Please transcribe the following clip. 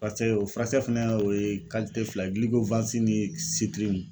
Pase o furakisɛ fɛnɛ o ye fila ye ni .